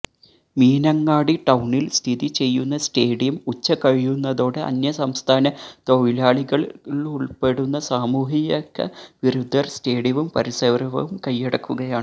മീനങ്ങാടി ടൌണില് സ്ഥിതി ചെയ്യുന്ന സ്റ്റേഡിയം ഉച്ച കഴിയുന്നതോടെ അന്യസംസ്ഥാന തൊഴിലാളികള് ഉള്പ്പെടുന്ന സാമൂഹ്യക വിരുദ്ധര് സ്റ്റേഡിയവും പരിസരവും കയ്യടക്കുകയാണ്